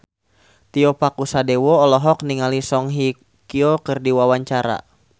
Tio Pakusadewo olohok ningali Song Hye Kyo keur diwawancara